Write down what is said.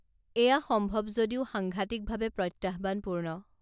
এয়া সম্ভৱ যদিও সাংঘাটিকভাৱে প্ৰত্যাহ্বানপূৰ্ণ